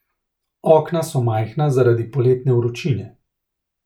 Okna so majhna zaradi poletne vročine.